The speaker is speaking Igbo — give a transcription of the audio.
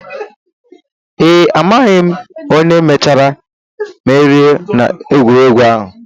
Ee, amaghị onye mechara merie n'egwuregwu ahụ